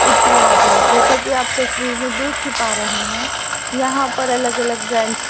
इत्यादि जैसा की आप तस्वीर में देख ही पा रहे हैं यहां पर अलग अलग ब्रैंड्स --